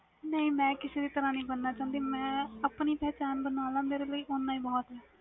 ਨਹੀਂ ਮੈਂ ਕਿਸੇ ਤਰਾਂ ਨਹੀਂ ਬਣਨਾ ਚਾਹੁੰਦੀ ਮੈਂ ਆਪਣੀ ਪਹਿਚਾਣ ਬਨਾਣਾ ਚਾਹੁੰਦੀ